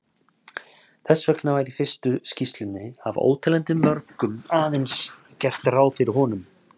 Þess vegna var í fyrstu skýrslunni af óteljandi mörgum aðeins gert ráð fyrir honum.